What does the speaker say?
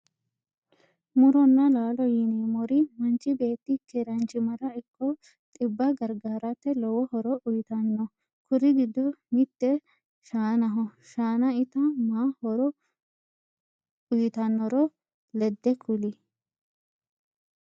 Muronna laalo yineemmor manchi beeti keeranchimara ikko xibba gargarate lowo horo uyitanno kur giddo mitte shaanaho shaana ita ma horo uyitannore ledde kuli?